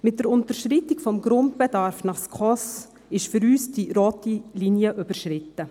Mit der Unterschreitung des Grundbedarfs nach den SKOS-Richtlinien ist für uns die rote Linie überschritten.